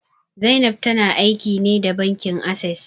Zainab ta na aiki ne da bankin Ases